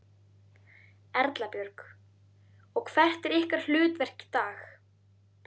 Erla Björg: Og hvert er ykkar hlutverk í dag?